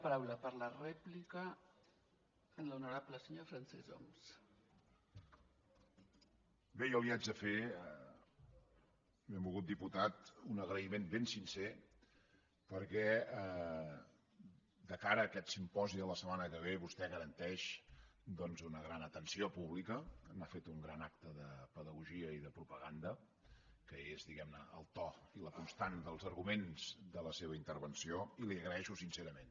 bé jo li haig de fer benvolgut diputat un agraïment ben sincer perquè de cara a aquest simposi de la setmana que ve vostè garanteix doncs una gran atenció pública n’ha fet un gran acte de pedagogia i de propaganda que és diguemne el to i la constant dels arguments de la seva intervenció i li ho agraeixo sincerament